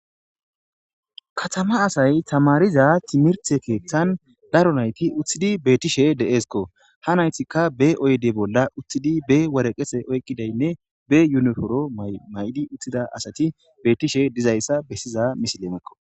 katama asay tamariza timirthe keeththan daro nayti uththidi beettishe deeskko ha naytikka be oyde bolla uththidi be waraqese oykkidaynne be yuniforo may7di uththida asati beetishe dizayssa bessiza misilemekko